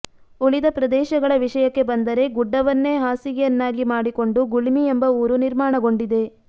ಉಳಿದ ಪ್ರದೇಶಗಳ ವಿಷಯಕ್ಕೆ ಬಂದರೆ ಗುಡ್ಡವನ್ನೇ ಹಾಸಿಗೆಯನ್ನಾಗಿ ಮಾಡಿಕೊಂಡು ಗುಳ್ಮಿ ಎಂಬ ಊರು ನಿರ್ಮಾಣಗೊಂಡಿದೆ